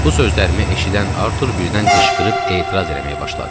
Bu sözlərimi eşidən Artur birdən qışqırıb etiraz eləməyə başladı.